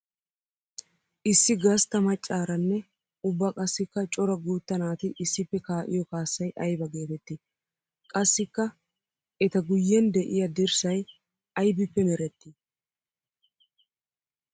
Issi gastta macaranne ubba qassikka cora guutta naati issippe kaa'iyo kaassay aybba geetetti? Qassikka etta guyen de'iya dirssay aybbippe meretti?